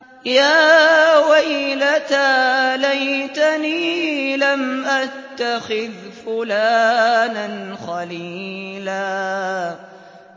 يَا وَيْلَتَىٰ لَيْتَنِي لَمْ أَتَّخِذْ فُلَانًا خَلِيلًا